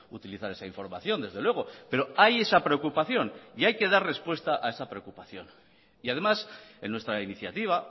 utilizar esa información desde luego pero hay esa preocupación y hay que dar respuesta a esa preocupación y además en nuestra iniciativa